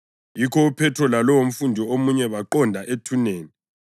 Yikho uPhethro lalowomfundi omunye baqonda ethuneni.